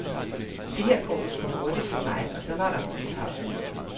Det her går vist for hurtigt for mig og så var der kun tavshed.